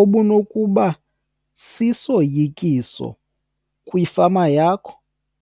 obunokuba sisoyikiso kwifama yakho?